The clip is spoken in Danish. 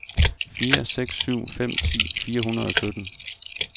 fire seks syv fem ti fire hundrede og sytten